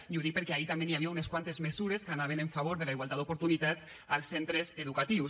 i ho dic perquè ahir també hi havia unes quantes mesures que anaven en favor de la igualtat d’oportunitats als centres educatius